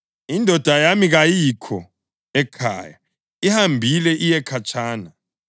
Indoda yami kayikho ekhaya; ihambile iye khatshana.